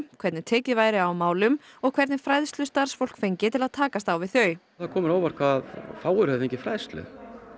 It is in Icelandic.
hvernig tekið væri á málum og hvernig fræðslu starfsfólk fengi til að takast á við þau það kom mér á óvart hvað fáir hefðu fengið fræðslu